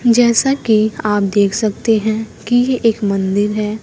जैसा की आप देख सकते हैं की एक मंदिर है।